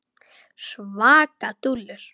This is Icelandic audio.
Svaka dúllur!